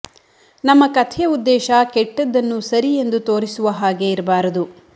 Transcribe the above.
ನಮ್ಮ ಕಥೆಯ ಉದ್ದೇಶ ಕೆಟ್ಟದನ್ನು ಸರಿ ಎಂದು ತೋರಿಸುವ ಹಾಗೆ ಇರಬಾರದು